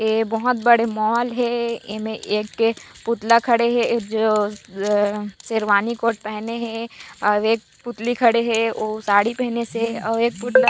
ए बहोत बड़े मॉल हे एमे एक पुतला खड़े हे ये जो अ शेरवानी कोट पहने हे अऊ एक पुतली खड़े हे ओ साड़ी पहनिसे अऊ एक पुतला--